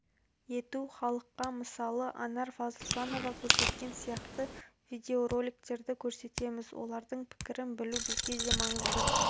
ету халыққа мысалы анар фазылжанова көрсеткен сияқты видеороликтерді көрсетеміз олардың пікірін білу бізге де маңызды